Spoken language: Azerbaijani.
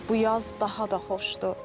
Bu yaz daha da xoşdur.